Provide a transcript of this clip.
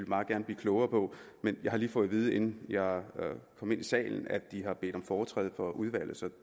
meget gerne blive klogere på men jeg har lige fået at vide inden jeg kom ind i salen at de har bedt om foretræde for udvalget så